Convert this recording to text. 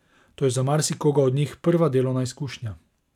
To je za marsikoga od njih prva delovna izkušnja.